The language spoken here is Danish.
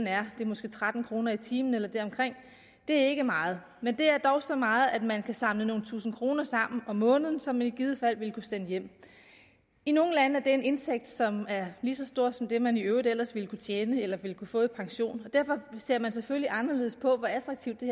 er måske tretten kroner i timen eller deromkring det er ikke meget men det er dog så meget at man kan samle nogle tusinde kroner sammen om måneden som man i givet fald vil kunne sende hjem i nogle lande er det en indtægt som er lige så stor som den man i øvrigt ellers ville kunne tjene eller ville kunne få i pension derfor ser man selvfølgelig anderledes på hvor attraktivt det